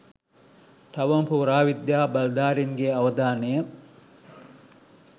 තවම පුරාවිද්‍යා බලධාරීන්ගේ අවධානය